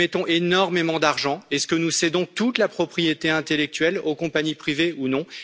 Nous mettons énormément d'argent, est ce que nous cédons toute la propriété intellectuelle aux compagnies privées, ou non?